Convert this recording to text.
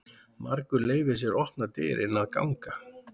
Margur leyfir sér opnar dyr inn að ganga.